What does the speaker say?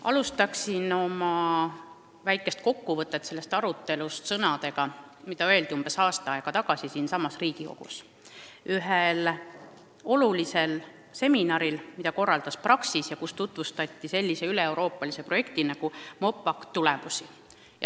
Alustan oma väikest kokkuvõtet sellest arutelust sõnadega, mis öeldi umbes aasta aega tagasi siinsamas Riigikogus ühel olulisel seminaril, mille korraldas Praxis ja kus tutvustati üleeuroopalise projekti MOPACT tulemusi.